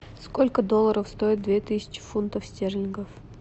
сколько долларов стоит две тысячи фунтов стерлингов